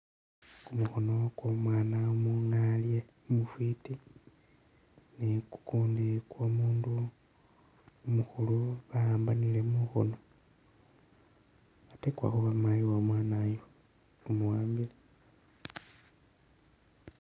Kumukhono kwo'omwaana umungaalye umufwiti ni kukundi kwo'omundu umukhulu bawambanile mukhoono ate kwakha khuba mayi womwana ayu umuwambile.